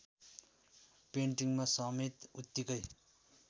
पेन्टिङमा समेत उत्तिकै